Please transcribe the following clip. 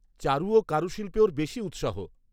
চারু ও কারুশিল্পে ওর বেশি উৎসাহ।